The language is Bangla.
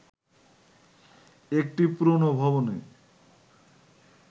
একটি পুরোনো ভবনে